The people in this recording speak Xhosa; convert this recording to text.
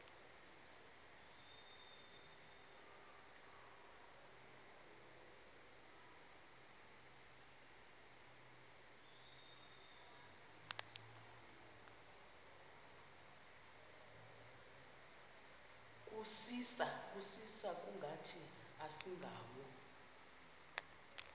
kusisa kungathi asingawo